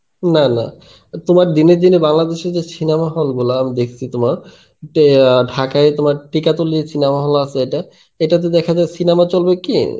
না না তোমার দিনের দিনে বাংলাদেশের যে cinema hall গুলো আমি দেখসি তোমার আ ঢাকায় তোমার cinema hall আছে এটা, এটাতে দেখা যায় cinema চলবে কি